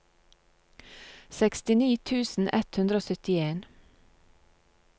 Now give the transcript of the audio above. sekstini tusen ett hundre og syttien